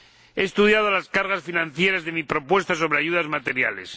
He estudiado las cargas financieras de mi propuesta sobre ayudas materiales.